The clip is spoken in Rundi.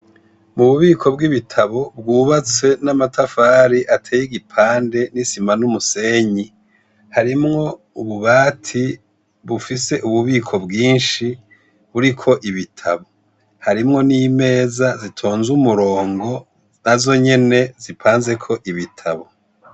Mububiko bwibitabo bwubatse namatafari ateyigipande nisima numusenyi harimwo ububati bufise ububiko bwinshi buriko ibitabo harimwo nimeza zitonze umurongo nazonyene zipanzeko ibitabo